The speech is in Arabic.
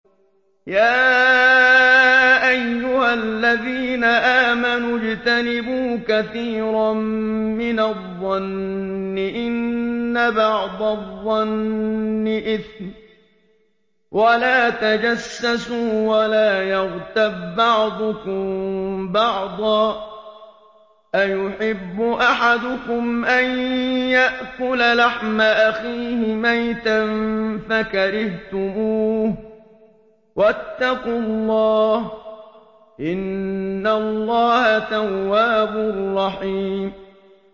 يَا أَيُّهَا الَّذِينَ آمَنُوا اجْتَنِبُوا كَثِيرًا مِّنَ الظَّنِّ إِنَّ بَعْضَ الظَّنِّ إِثْمٌ ۖ وَلَا تَجَسَّسُوا وَلَا يَغْتَب بَّعْضُكُم بَعْضًا ۚ أَيُحِبُّ أَحَدُكُمْ أَن يَأْكُلَ لَحْمَ أَخِيهِ مَيْتًا فَكَرِهْتُمُوهُ ۚ وَاتَّقُوا اللَّهَ ۚ إِنَّ اللَّهَ تَوَّابٌ رَّحِيمٌ